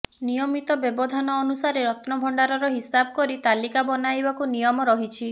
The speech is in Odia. ନିୟମିତ ବ୍ୟବଧାନରେ ଅନୁସାରେ ରତ୍ନଣଭଣ୍ଡାରର ହିସାବ କରି ତାଲିକା ବନାଇବାକୁ ନିୟମ ରହିଛି